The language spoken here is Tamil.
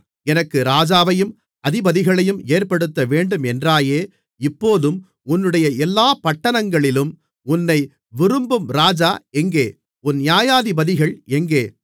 எனக்கு ராஜாவையும் அதிபதிகளையும் ஏற்படுத்தவேண்டும் என்றாயே இப்போதும் உன்னுடைய எல்லாப் பட்டணங்களிலும் உன்னை விரும்பும் ராஜா எங்கே உன் நியாயாதிபதிகள் எங்கே